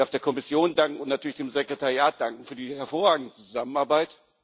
Ich darf der Kommission und natürlich dem Sekretariat danken für die hervorragende Zusammenarbeit.